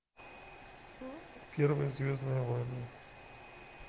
первые звездные войны